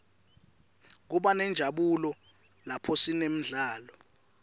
kubanenjabulo laphosinemidlalo